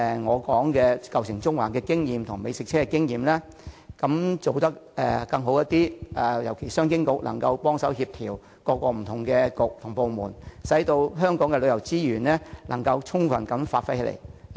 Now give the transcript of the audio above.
我尤其希望商務及經濟發展局能幫忙協調政府各個不同的政策局和部門，令香港的旅遊資源能夠充分發揮作用。